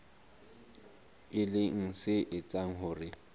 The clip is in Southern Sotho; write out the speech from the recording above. e leng se etsang hore